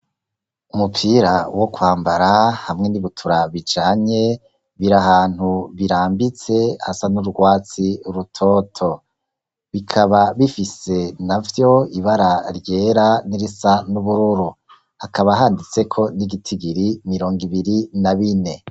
Umupira wo kwambara hamwe n'ibutura bijanye biri ahantu birambitse asa n'urwatsi rutoto bikaba bifise navyo ibara ryera n'irisa n'ubururu akaba handitse ko n'igitigiri mirongo ibiri na bine.